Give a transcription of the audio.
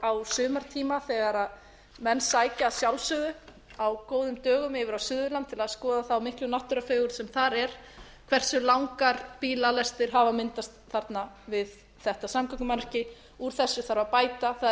á sumartíma þegar menn sækja að sjálfsögðu á góðum dögum yfir á suðurland til að skoða þá miklu náttúrufegurð sem þar er hversu langar bílalestir hafa myndast þarna við þetta samgöngumannvirki úr þessu þarf að bæta það er